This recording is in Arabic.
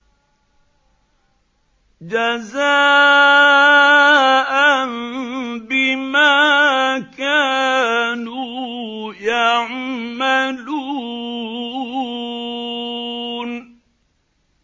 جَزَاءً بِمَا كَانُوا يَعْمَلُونَ